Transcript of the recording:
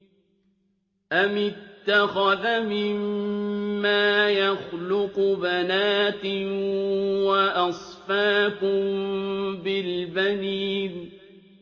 أَمِ اتَّخَذَ مِمَّا يَخْلُقُ بَنَاتٍ وَأَصْفَاكُم بِالْبَنِينَ